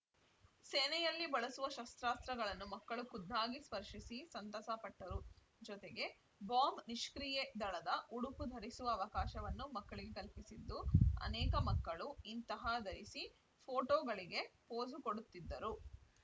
ಸೇನೆಯಲ್ಲಿ ಬಳಸುವ ಶಸ್ತ್ರಾಸ್ತ್ರಗಳನ್ನು ಮಕ್ಕಳು ಖುದ್ದಾಗಿ ಸ್ಪರ್ಶಿಸಿ ಸಂತಸ ಪಟ್ಟರು ಜೊತೆಗೆ ಬಾಂಬ್‌ ನಿಷ್ಕ್ರಿಯೇ ದಳದ ಉಡುಪು ಧರಿಸುವ ಅವಕಾಶವನ್ನು ಮಕ್ಕಳಿಗೆ ಕಲ್ಪಿಸಿದ್ದು ಅನೇಕ ಮಕ್ಕಳು ಇಂತಹ ಧರಿಸಿ ಪೋಟೋಗಳಿಗೆ ಪೋಸು ಕೊಡುತ್ತಿದ್ದರು